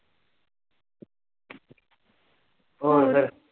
ਹੋਰ ਫਿਰ?